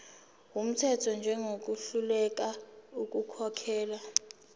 wumthetho njengohluleka ukukhokhela